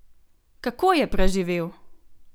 Kako je preživel?